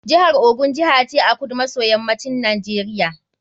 Jihar Ogun Jiha ce a kudu maso yammacin Najeriya.